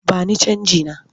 Ba ni canjina!